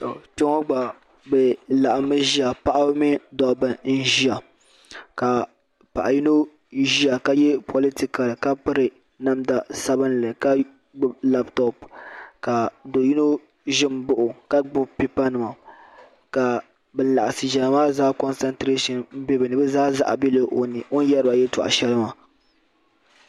Kpɛŋɔ gba bɛ laɣimmi ʒiha paɣiba ni dobba n-ʒiya ka paɣ'yino ʒiya ka ye politikali ka piri namda sabinli ka gbubi laputopu ka do'yino ʒi m-baɣi o ka gbubi pipanima ka ban laɣisi ʒiya maa zaa zaɣa bela o ni yɛri ba yɛltɔɣa shɛli maa.